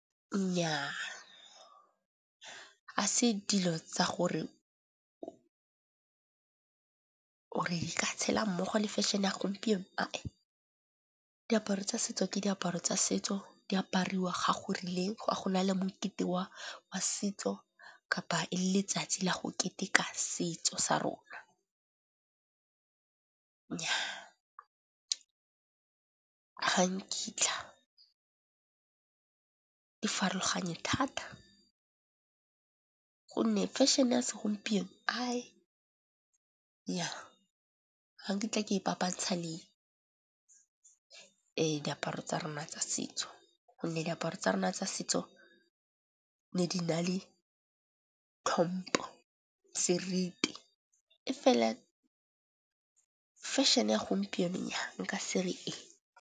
Nnyaa, ga se dilo tsa gore o re ka tshela mmogo le fashion-e ya gompieno uh uh. Diaparo tsa setso ke diaparo tsa setso di apariwa ga go rileng, ga gona le mokete wa setso kapa e le letsatsi la go keteka setso sa rona. Nnyaa, ga nkitla di farologanye thata gonne fashion-e ya segompieno, nnyaa ga nkitla ke e papantsha le diaparo tsa rona tsa setso. Gonne diaparo tsa rona tsa setso ne di na le tlhompho, seriti, e fela fashion-e ya gompieno nnyaa nka se re ee.